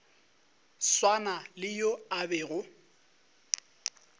swana le yo a bego